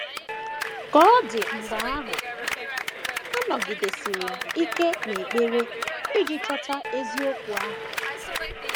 Ka ọ dị mgbe ahụ, anọgidesiri m ike n’ekpere iji chọta eziokwu ahụ.